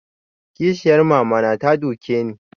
Kishiyar mama na ta duke ni